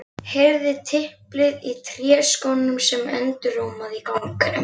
Heyrði tiplið í tréskónum sem endurómaði á ganginum.